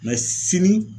sini